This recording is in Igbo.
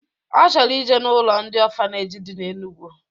Ọ chọrọ ije n'ụlọ ndị ọfaneji dị na Enugu